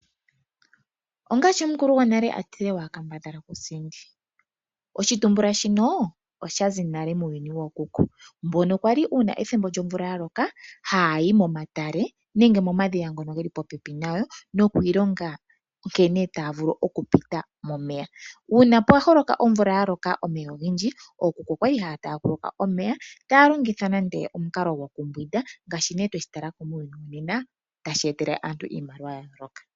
Ongaashi omukulu gonale a tile"Wa kambadhala ku sindi", oshitumbula shino osha zi nale muuyuni wookuku mbono yali, uuna ethimbo lyomvula ya loka haya yi momatale nenge momadhiya ngono geli popepi nayo noku ilonga nkene taya vulu oku pita momeya. Uuna pwa holoka omvula ya loka omeya ogendji, ookuku oyali haya taaguluka omeya, taya longitha nande omukalo gokumbwinda ngaashi nee twe shi tala ko muuyuni wonena tashi etele aantu iimaliwa ya yooloka.